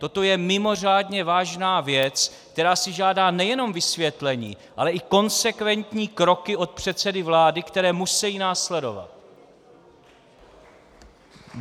Toto je mimořádně vážná věc, která si žádá nejenom vysvětlení, ale i konsekventní kroky od předsedy vlády, které musejí následovat.